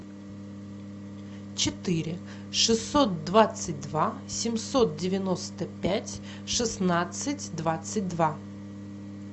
четыре шестьсот двадцать два семьсот девяносто пять шестнадцать двадцать два